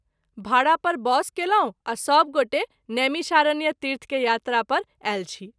भाड़ा पर बस कयलहुँ आ सभ गोटे नैमिषारण्य तीर्थ के यात्रा पर आयल छी।